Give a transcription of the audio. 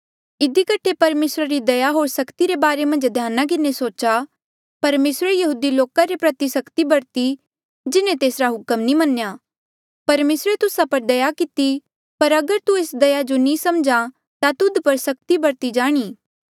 इधी कठे परमेसरा री दया होर सख्ती रे बारे मन्झ ध्याना किन्हें सोचा परमेसरे यहूदी लोका रे प्रति सख्ती बरती जिन्हें तेसरा हुक्म नी मन्नेया परमेसरे तुस्सा पर दया किती पर अगर तू एस दया जो नी समझ्हा ता तुध पर सख्ती बरती जाणी